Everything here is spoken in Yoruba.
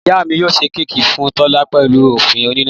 Ìyá mi yio sẹ kẹkí fún tola pẹlú ofun onina